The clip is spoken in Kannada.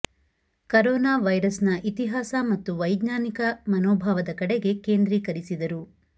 ಕರೋನಾ ವೈರಸ್ ನ ಇತಿಹಾಸ ಮತ್ತು ವೈಜ್ಞಾನಿಕ ಮನೋಭಾವದ ಕಡೆಗೆ ಕೇಂದ್ರೀಕರಿಸಿದರು